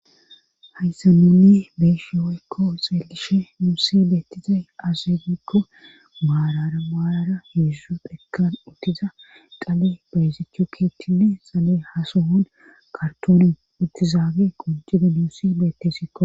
Ayssa nunne beeshi woykko xeelishe muusi beettizay azeegikko maarara maarara hiedzu dhekan uttiza qale beyzichu keethtchinne xalee hasohon kartoonen uttizaage qonjide nuusi beettesikko.